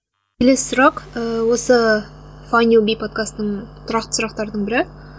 келесі сұрақ ыыы осы файнд ю би подкастының тұрақты сұрақтарының бірі